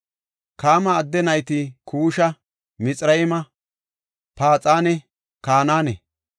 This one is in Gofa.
Kaama adde nayti Kuusha, Mixirayma, Fuuxanne Kanaane.